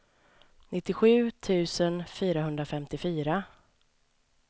nittiosju tusen fyrahundrafemtiofyra